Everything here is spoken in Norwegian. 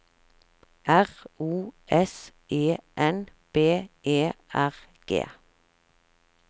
R O S E N B E R G